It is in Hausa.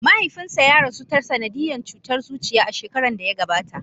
Mahaifinsa ya rasu ta sanadiyan cutar zuciya, a shekaran da ya gabata.